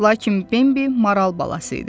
Lakin Bimbi maral balası idi.